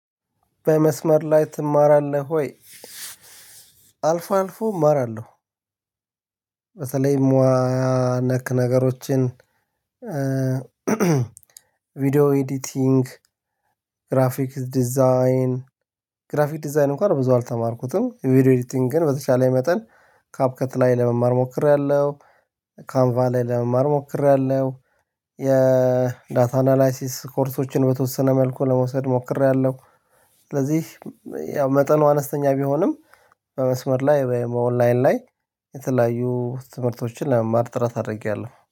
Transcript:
በመስመር ላይ ትማራለህ ወይ? አልፎ አልፎ እማራለሁ። ሙያ ነክ ነገሮችን፤ ቪዲዮ ኤዲቲንግ፤ ግራፊክ ዲዛይን፤ ግራፊክ ዲዛይን እንኳን ብዙ አልተማርኩትም፤ ቪዲዮ ኤዲቲንግ ግን በተሻለ መጠን ካፕ ከተለያየ ለመማር ሞክሬያለሁ። ካንቫ ላይ ለመማር ሞክሬያለሁ፤ የዳታ አናላይሲስ ኮርሶችን በተወሰነ መልኩ ለመውሰድ ሞክሬያለሁ። ስለዚህ ያው መጠኑ አነስተኛ ቢሆንም በመስመር ላይ በኦንላይን ላይ የተለያዩ ትምህርቶችን ለመማር ጥረት አታድርጊያለህ።